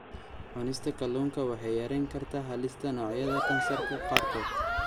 Cunista kalluunka waxay yarayn kartaa halista noocyada kansarka qaarkood.